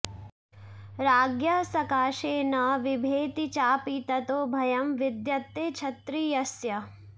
राज्ञः सकाशे न विभेति चापि ततो भयं विद्यते क्षत्रियस्य